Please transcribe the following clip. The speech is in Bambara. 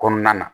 Kɔnɔna na